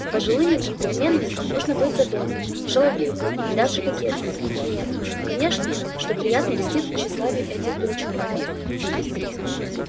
с пожилыми джентльменами нужно быть задорной шаловливой и даже кокетливой в меру конечно что приятно льстит тщеславию этих дурачков